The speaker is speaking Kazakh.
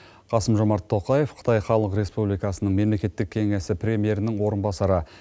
қасым жомарт тоқаев қытай халық республикасы мемлекеттік кеңесі премьерінің орынбасары